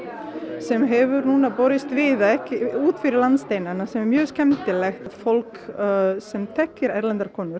sem hefur núna borist víða út fyrir landsteinana sem er mjög skemmtilegt fólk sem þekkir erlendar konur